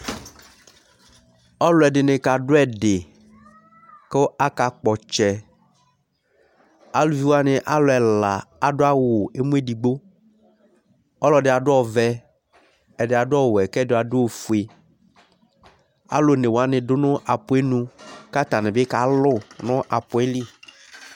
Ɔluɛdini k'adu ɛdì ku aka kpɔ ɔtsɛ, aluviwa ni alu ɛla adu awù emu edigbo, ɔlɔdi adu ɔvɛ, ɛdi adu ɔwɛ, k'ɛdi adu ofue, alu onéwani du nu apuɛ ayi nu k'atani bi ka alù nu apuɛ li